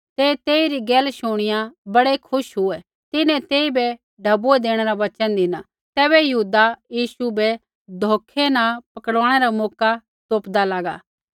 ते तेइरी गैल शुणिया बड़ै खुश हुऐ तिन्हैं तेइबै ढैबुऐ देणै रा वचन धिना तैबै यहूदा यीशु बै धोखै न पकड़वाणै रा मौका तोपदा लागा